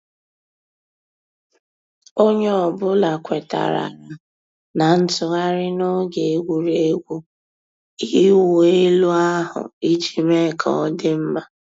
Ònyè ọ̀ bula kwètàrárà nà ntụ̀ghàrì n'ògè ègwurégwụ̀ ị̀wụ̀ èlù ahu íjì mée kà ọ̀ dị mma.